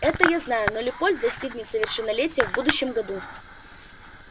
это я знаю но лепольд достигнет совершеннолетия в будущем году